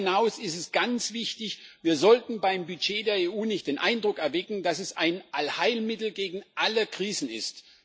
Darüber hinaus ist ganz wichtig Wir sollten beim Budget der EU nicht den Eindruck erwecken, dass es ein Allheilmittel gegen alle Krisen ist.